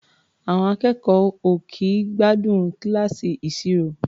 À̀ọn akẹ́kọ̀ọ́ ò kì í gbádùn kíláàsì ìṣirò.